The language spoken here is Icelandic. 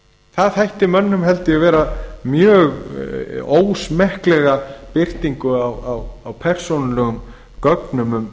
það þætti mönnum held ég vera mjög ósmekkleg birtingu á persónulegum gögnum